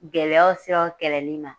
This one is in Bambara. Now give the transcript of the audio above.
Gɛlɛyaw seraw kɛlɛli ma.